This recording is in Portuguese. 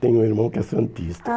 Tem um irmão que é santista. Ah